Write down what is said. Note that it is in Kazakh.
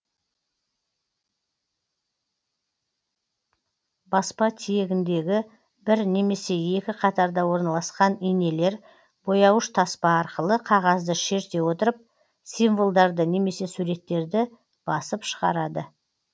баспа тиегіндегі бір немесе екі қатарда орналасқан инелер бояуыш таспа арқылы қагазды шерте отырып символдарды немесе суреттерді басып шыгарады